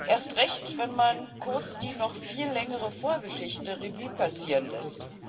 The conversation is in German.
Erst recht, wenn man kurz die noch viel längere Vorgeschichte Revue passieren lässt.